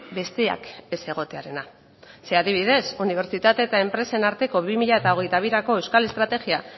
besteak ez egotearena ze adibidez unibertsitate eta enpresen arteko bi mila hogeita birako euskal estrategia